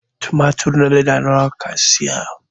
tumatur na leda nawa ka saya?